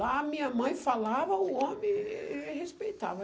Lá, a minha mãe falava, o homem respeitava.